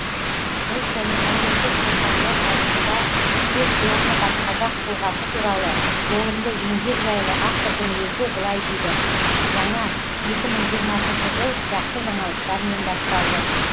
ұлт және әлемдік руханият тарихында үлкен орны бар қазақ тұлғасы туралы толымды еңбек жайлы автордың өзі былай дейді жаңа екі мың жиырмасыншы жыл жақсы жаңалықтармен басталды